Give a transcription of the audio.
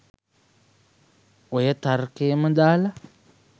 ඔය තර්කයම දාලා